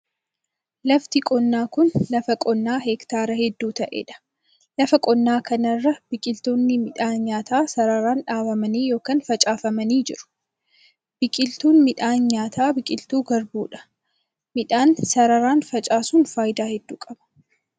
Lafti qonnaa kun, lafa qonnaa heektaara hedduu ta'ee dha. Lafa qonnaa kana irra biqiloonni midhaan nyaataa sararaan dhaabamanii yokin facaafamanii jiru. Biqilyuun midhaan nyaataa biqiltuu garbuu dha. Midhaan sararaan facaasun faayidaa hedduu qaba.